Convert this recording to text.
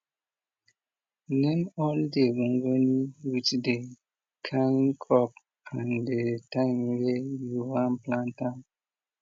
name all the gongoni with the kine crop and the time weh you wan plant am